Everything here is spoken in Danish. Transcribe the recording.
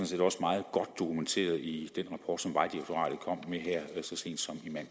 set også meget godt dokumenteret i den rapport som vejdirektoratet kom med her så sent